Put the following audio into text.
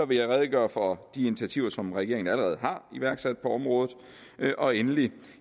vil jeg redegøre for de initiativer som regeringen allerede har iværksat på området og endelig